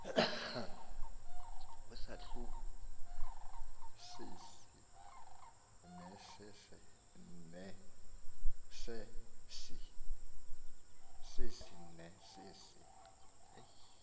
kwisahluko sesi nesesi